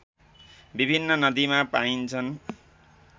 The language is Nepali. विभिन्न नदीमा पाइन्छन्